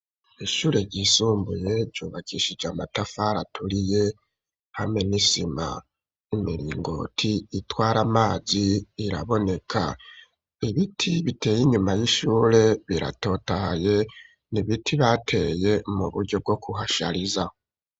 Ishure ryisumbuye ryubakishije amatafari aturiye hamwe n'isima, n'imiringoti itwara amazi iraboneka. Ibiti biteye inyuma y'ishure biratotahaye; ni ibiti bateye mu buryo bwo kuhashariza.